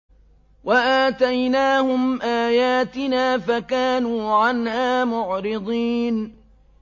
وَآتَيْنَاهُمْ آيَاتِنَا فَكَانُوا عَنْهَا مُعْرِضِينَ